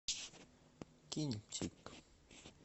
кинчик